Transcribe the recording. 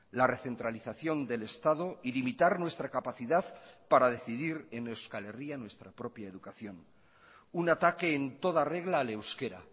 la recentralización del estado y limitar nuestra capacidad para decidir en euskal herria nuestra propia educación un ataque en toda regla al euskera